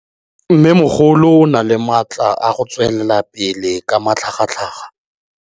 Mmêmogolo o na le matla a go tswelela pele ka matlhagatlhaga.